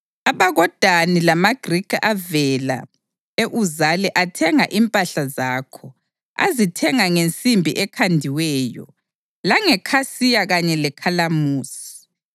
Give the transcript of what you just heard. AbakoDani lamaGrikhi avela e-Uzali athenga impahla zakho; azithenga ngensimbi ekhandiweyo, langekhasiya kanye lekhalamusi.